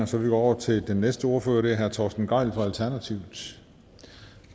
så vi går over til den næste ordfører det er herre torsten gejl fra alternativet